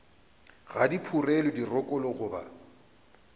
ga di phurelwe dirokolo goba